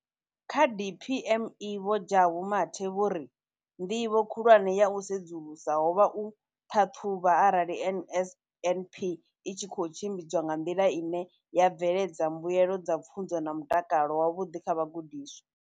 Kha DPME, Vho Jabu Mathe, vho ri ndivho khulwane ya u sedzulusa ho vha u ṱhaṱhuvha arali NSNP i tshi khou tshimbidzwa nga nḓila ine ya bveledza mbuelo dza pfunzo na mutakalo wavhuḓi kha vhagudiswa.